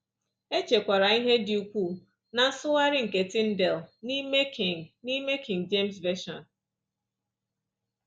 E chekwara ihe dị ukwuu ná nsụgharị nke Tyndale n’ime King n’ime King James Version